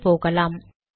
மேலே போகலாம்